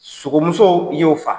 Sogomuso y'o faa